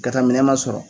Ka taa minɛn sɔrɔ